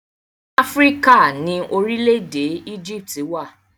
Áfíríkà ni orílẹ̀-èdè Éjíptì wà.